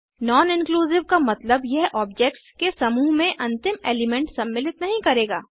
non inclusive का मतलब यह ऑब्जेक्ट्स के समूह में अंतिम एलिमेंट सम्मिलित नहीं करेगा